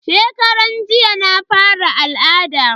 Shekaran jiya na fara al'ada.